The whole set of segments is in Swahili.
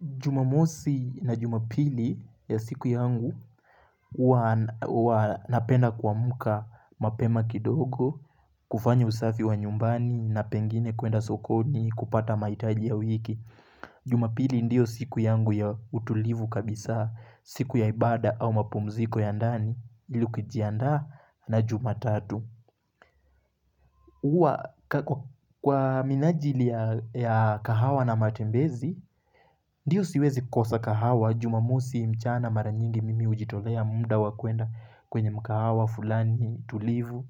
Jumamosi na jumapili ya siku yangu, huwa huwa napenda kamka mapema kidogo, kufanya usafi wa nyumbani na pengine kuenda sokoni kupata mahitaji ya wiki. Jumapili ndiyo siku yangu ya utulivu kabisa, siku ya ibada au mapumziko ya ndani, ili kujiandaa na jumatatu. Kwa minajili ya kahawa na matembezi Ndiyo siwezi kosa kahawa Jumamosi mchana mara nyingi mimi hujitolea mda wa kuenda kwenye mkahawa fulani tulivu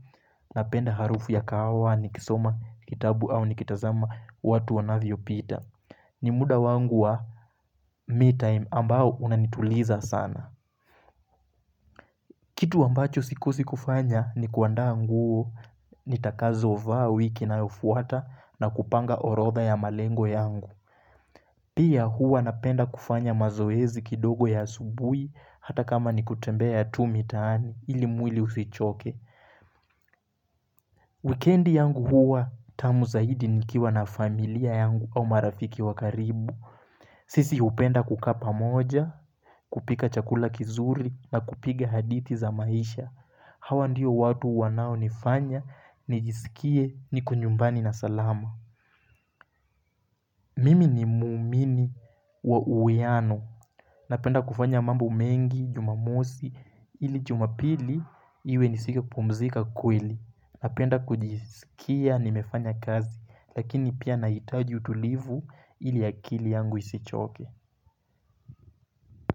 Napenda harufu ya kahawa ni kisoma kitabu au ni kitazama watu wanavyo pita ni muda wangu wa me time ambao unanituliza sana Kitu ambacho sikodi kufanya ni kuandaa ngu Nitakazo vaawiki na ufuata na kupanga orodha ya malengo yangu Pia hua napenda kufanya mazoezi kidogo ya subuhi Hata kama ni kutembea ya tu mitaani ili mwili usichoke Weekendi yangu hua tamu zaidi nikiwa na familia yangu au marafiki wa karibu sisi hupenda kukaa pamoja, kupika chakula kizuri na kupiga hadithi za maisha Hawa ndiyo watu wanao nifanya, nijisikie, niko nyumbani na salama Mimi ni mumini wa uwiano. Napenda kufanya mambo mengi, jumamosi, ili jumapili, iwe nisike pumzika kweli. Napenda kujisikia, nimefanya kazi, lakini pia nahitaji utulivu ili akili yangu isichoke.